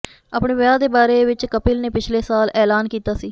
ਅਪਣੇ ਵਿਆਹ ਦੇ ਬਾਰੇ ਵਿਚ ਕਪਿਲ ਨੇ ਪਿਛਲੇ ਸਾਲ ਐਲਾਨ ਕੀਤਾ ਸੀ